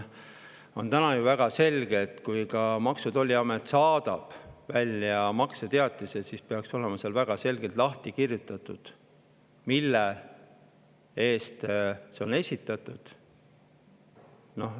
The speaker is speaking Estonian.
On ju selge, et kui Maksu‑ ja Tolliamet saadab välja makseteatise, siis peaks olema väga selgelt lahti kirjutatud, mille eest see on esitatud.